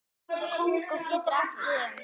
Kongó getur átt við um